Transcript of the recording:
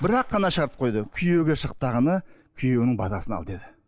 бірақ ақ қана шарт қойды күйеуге күйеуіңің батасын ал деді